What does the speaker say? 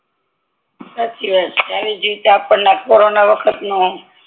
સાચી વાત છે આવીજ રીતે આપડે આ કોરોના વખત નો